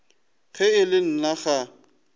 ge e le nna ga